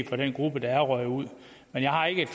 for den gruppe der er røget ud jeg har ikke et